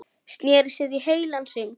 Sneri sér í heilan hring.